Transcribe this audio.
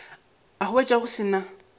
a hwetša go se na